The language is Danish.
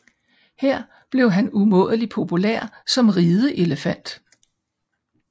Her blev han umådelig populær som rideelefant